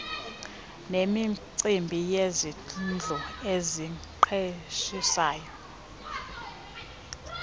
nemicimbi yezindlu eziqeshisayo